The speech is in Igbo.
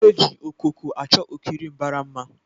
E ji okoko a chọ okirir mbara mma